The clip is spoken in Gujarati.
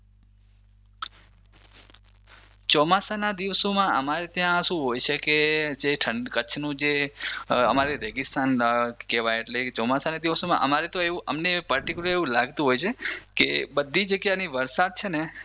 ચોમાસાના દિવસોમાં અમારે ત્યાં શું હોય છે કે જે કચ્છનો જે અમારે રેગિસ્તાન કેવાય એટલે ચોમાસાના દિવસોમાં અમને તો પર્ટિક્યુલર એવું લાગતું હોય છે કે બધી જગ્યાની વરસાદ છે ને